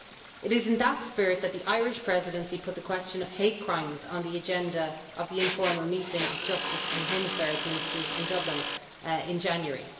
It is in that spirit that the Irish Presidency put the question of hate crimes on the agenda of the informal meeting of Justice and Home Affairs Ministers in Dublin in January.